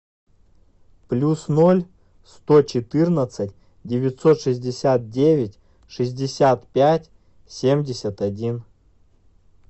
плюс ноль сто четырнадцать девятьсот шестьдесят девять шестьдесят пять семьдесят один